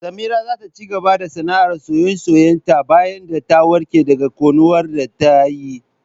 Samira za ta cigaba da sanaar soye-soye ta bayan ta warke daga ƙunar da tayi